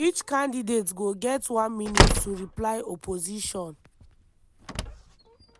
each candidate go get one minute to reply opposition.